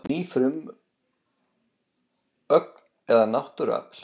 Ný frumögn eða náttúruafl